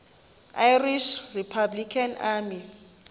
irish republican army